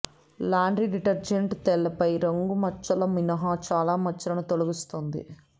laundry detergent తైలపు రంగు మచ్చల మినహా చాలా మచ్చలను తొలగిస్తుంది